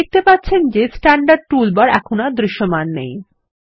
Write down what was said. আপনি দেখতে পাচ্ছেন যে স্ট্যান্ডার্ড টুলবার এখন আর দৃশ্যমান নেই